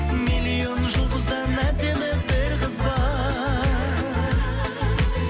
миллион жұлдыздан әдемі бір қыз бар